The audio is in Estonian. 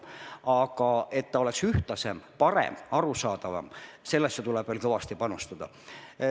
Aga et tase oleks ühtlasem, parem, arusaadavam, sellesse tuleb veel kõvasti panustada.